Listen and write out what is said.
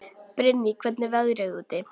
Brynný, hvernig er veðrið úti?